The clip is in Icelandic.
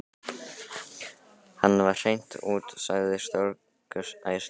Hann var hreint út sagt stórglæsilegur.